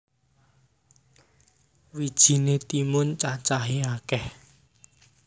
Wijiné timun cacahé akèh